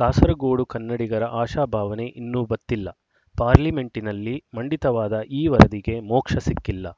ಕಾಸರಗೋಡು ಕನ್ನಡಿಗರ ಆಶಾಭಾವನೆ ಇನ್ನೂ ಬತ್ತಿಲ್ಲ ಪಾರ್ಲಿಮೆಂಟಿನಲ್ಲಿ ಮಂಡಿತವಾದ ಈ ವರದಿಗೆ ಮೋಕ್ಷ ಸಿಕ್ಕಿಲ್ಲ